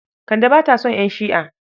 Kande ba ta son ƴan Shi'a.